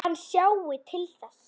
Hann sjái til þess.